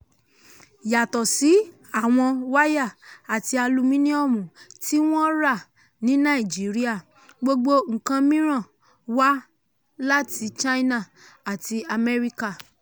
yàtọ̀ sí àwọn wáyà àti alumíníọ̀mù tí wọ́n rà ní nàìjíríà gbogbo nǹkan mìíràn wá láti china àti amẹ́ríkà.